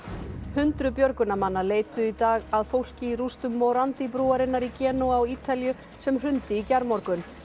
hundruð björgunarmanna leituðu í dag að fólki í rústum morandi brúarinnar í Genúa á Ítalíu sem hrundi í gærmorgun